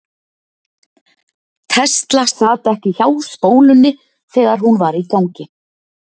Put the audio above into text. tesla sat ekki hjá spólunni þegar hún var í gangi